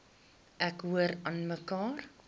ek hoor aanmekaar